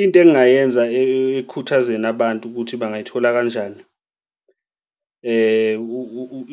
Into engingayenza ekhuthazeni abantu ukuthi bangayithola kanjani